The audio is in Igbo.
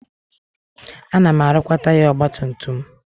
Ana m arụkwa taya ọgbatumtum m.